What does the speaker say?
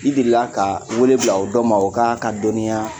I deli ka wele bila o dɔ ma o k'a ka dɔnniya